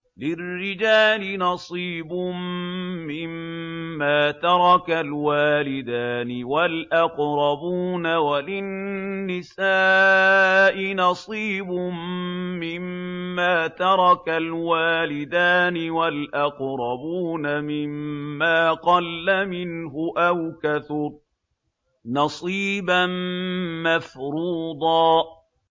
لِّلرِّجَالِ نَصِيبٌ مِّمَّا تَرَكَ الْوَالِدَانِ وَالْأَقْرَبُونَ وَلِلنِّسَاءِ نَصِيبٌ مِّمَّا تَرَكَ الْوَالِدَانِ وَالْأَقْرَبُونَ مِمَّا قَلَّ مِنْهُ أَوْ كَثُرَ ۚ نَصِيبًا مَّفْرُوضًا